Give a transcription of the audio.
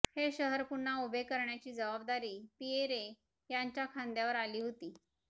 हे शहर पुन्हा उभे करण्याची जबाबदारी पिएरे यांच्या खांद्यावर आली होती